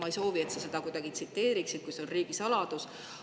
Ma ei soovi, et sa kuidagi neid tsiteeriksid, kui see on riigisaladus.